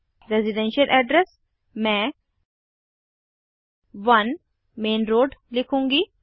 residential address मैं 1 main road लिखूंगी